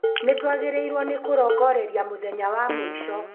Nĩtwagĩrĩirwo nĩ kũrongoreria mũthenya wa mũico